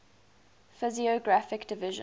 physiographic divisions